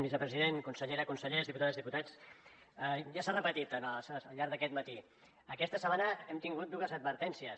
vicepresident consellera consellers diputades diputats ja s’ha repetit al llarg d’aquest matí aquesta setmana hem tingut dues advertències